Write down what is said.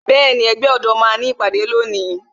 Bẹẹni, ẹgbẹ́ ọ̀dọ́ máa ní ìpàdé lónìí